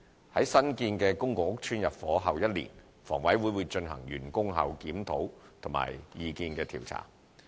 在新建公共屋邨入伙後一年，房委會會進行完工後檢討和意見調查。